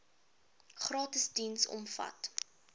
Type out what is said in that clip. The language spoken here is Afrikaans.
gratis diens omvat